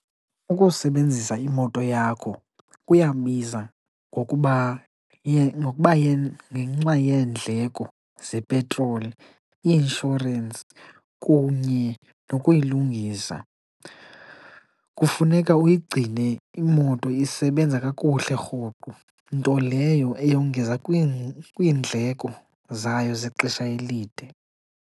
Ukusebenzisa imoto yakho kuyabiza ngokuba ngokuba , ngenxa yeendleko zepetroli, i-inshorensi kunye nokuyilungisa. Kufuneka uyigcine imoto isebenza kakuhle rhoqo, nto leyo eyongeza kwiindleko zayo zexesha elide.